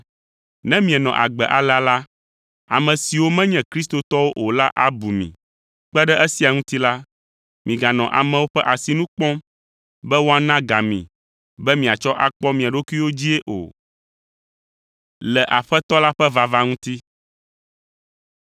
Ne mienɔ agbe alea la, ame siwo menye kristotɔwo o la abu mi. Kpe ɖe esia ŋuti la, miganɔ amewo ƒe asinu kpɔm be woana ga mi be miatsɔ akpɔ mia ɖokuiwo dzii o.